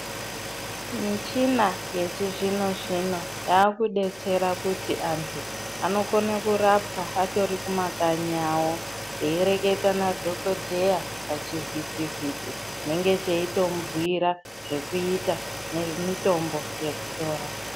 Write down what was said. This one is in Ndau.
Michina yechizvino zvino anodetsera kuti antu anokona kurapa vachiri kumakanyi awk veierenga madhokodheya pachivhuti vhiti chinenge cheimubhuura zvekuita nemitombo chekukura.